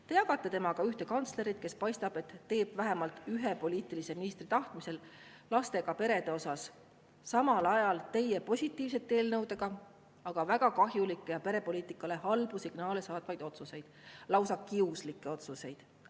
Te jagate temaga ühte kantslerit, kes, nagu paistab, teeb vähemalt ühe poliitilise ministri tahtmisel lastega perede kohta samal ajal teie positiivsete eelnõudega väga kahjulikke ja perepoliitikale halbu signaale saatvaid otsuseid, lausa kiuslikke otsuseid.